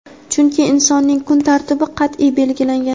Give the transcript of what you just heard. chunki insonning kun tartibi qat’iy belgilangan.